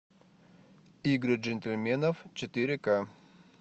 игры джентльменов четыре к